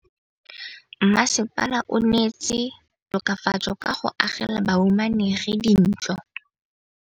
Mmasepala o neetse tokafatsô ka go agela bahumanegi dintlo.